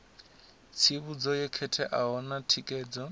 tsivhudzo yo khetheaho na thikedzo